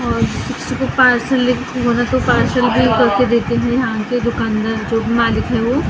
और सुबह पार्सल भी करके देते थे यहाँ के दुकानदार जो मालिक हैं वो ।